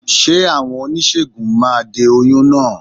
Ṣé àwọn oníṣègùn máa de oyún náà?